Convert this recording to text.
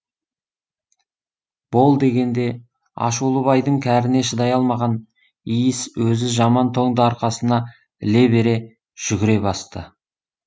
бол дегенде ашулы байдың кәріне шыдай алмаған иіс өзі жаман тоңды арқасына іле бере жүгіре басты